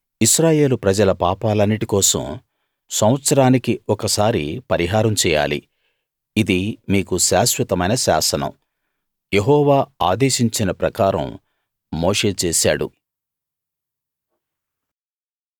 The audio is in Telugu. ఇశ్రాయేలు ప్రజల పాపాలన్నిటి కోసం సంవత్సరానికి ఒకసారి పరిహారం చేయాలి ఇది మీకు శాశ్వతమైన శాసనం యెహోవా ఆదేశించిన ప్రకారం మోషే చేసాడు